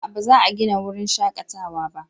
A'a ba za a gina wurin shakatawa ba